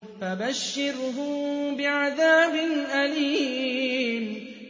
فَبَشِّرْهُم بِعَذَابٍ أَلِيمٍ